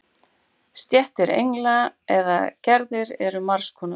Stéttir engla eða gerðir eru margs konar.